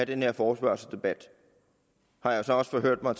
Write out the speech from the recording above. den her forespørgselsdebat har jeg så også forhørt mig